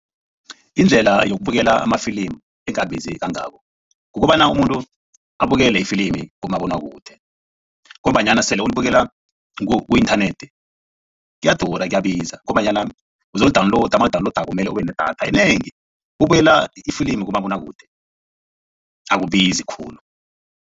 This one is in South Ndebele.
Indlela yokubuyela amafilimi engabizi kangako kukobana umuntu abukele ifilimini kumabonwakude ngombanyana sele ulibukela ku-inthanethi kuyadura kuyabiza ngombanyana uzoli-download, mawuli-download mele ube nedatha enengi bukela ifilimi kumabonwakude akubizi khulu.